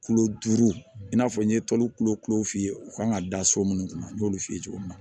Kulo duuru i n'a fɔ n ye tɔlu kulo kulu f'i ye u kan ka da so minnu kun n y'olu f'i ye cogo min na